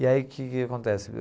E aí, que que acontece?